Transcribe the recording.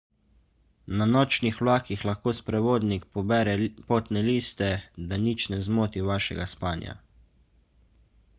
na nočnih vlakih lahko sprevodnik pobere potne liste da nič ne zmoti vašega spanja